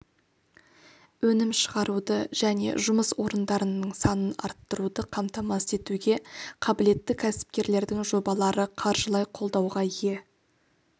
өнім шығаруды және жұмыс орындарының санын арттыруды қамтамасыз етуге қабілетті кәсіпкерлердің жобалары қаржылай қолдауға ие